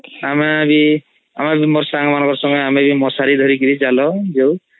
ଆମେ ବି ଆମ ସାଂଗ ମଶାରୀ ଧରି ଚାଲି ଯାଉ